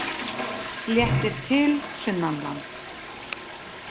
Léttir til sunnanlands